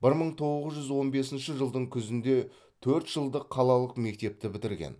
бір мың тоғыз жүз он бесінші жылдың күзінде төрт жылдық қалалық мектепті бітірген